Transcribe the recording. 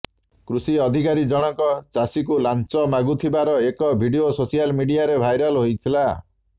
କୃଷି ଅଧିକାରୀ ଜଣଙ୍କ ଚାଷୀଙ୍କୁ ଲାଞ୍ଚ ମାଗୁଥିବାର ଏକ ଭିଡିଓ ସୋସିଆଲ ମିଡ଼ିଆରେ ଭାଇରାଲ ହୋଇଥିଲା